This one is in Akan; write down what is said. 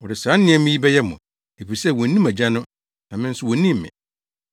Wɔde saa nneɛma yi bɛyɛ mo, efisɛ wonnim Agya no na me nso wonnim me.